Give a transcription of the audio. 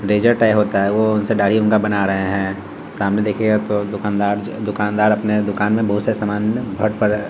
razor type होता है वो उनसे दाढ़ी उनका बना रहे हैं सामने देखिएगा तो दूकानदार ज दूकानदर अपने दुकान में बहुत से समान --